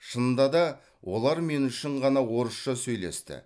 шынында да олар мен үшін ғана орысша сөйлесті